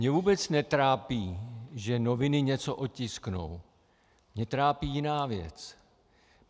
Mě vůbec netrápí, že noviny něco otisknou, mě trápí jiná věc.